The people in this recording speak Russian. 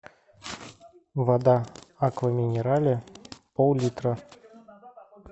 вода аква минерале пол литра